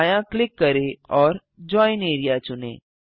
दायाँ क्लिक करें और जोइन एआरईए चुनें